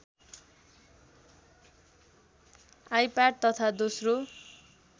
iPad तथा दोश्रो